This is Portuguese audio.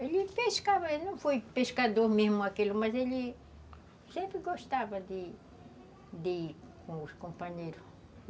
Ele pescava, não foi pescador mesmo, mas ele sempre gostava de ir de ir com os companheiros.